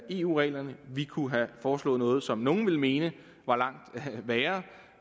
eu reglerne vi kunne have foreslået noget som nogle ville mene var langt værre